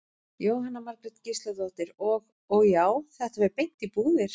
Jóhanna Margrét Gísladóttir: Og, og já, þetta fer beint í búðir?